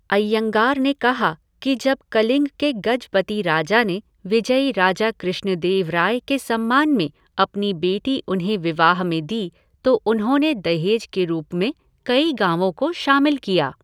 अइयंगार ने कहा कि जब कलिंग के गजपति राजा ने विजयी राजा कृष्णदेवराय के सम्मान में अपनी बेटी उन्हें विवाह में दी तो उन्होंने दहेज के रूप में कई गाँवों को शामिल किया।